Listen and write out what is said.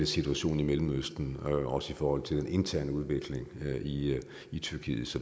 situationen i mellemøsten men også i forhold til den interne udvikling i i tyrkiet